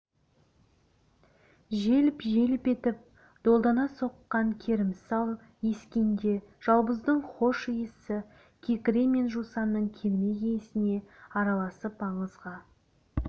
желп-желп етіп долдана соққан керімсал ескенде жалбыздың хош иісі кекіре мен жусанның кермек иісіне араласып аңызға